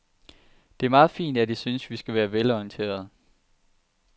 Det er meget fint, at I synes, vi skal være velorienterede.